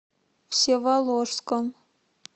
всеволожском